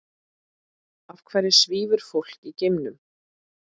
Af hverju svífur fólk í geimnum?